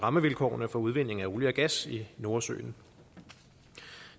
rammevilkårene for udvindingen af olie og gas i nordsøen